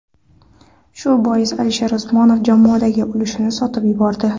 Shu boisdan Alisher Usmonov jamoadagi ulushini sotib yubordi.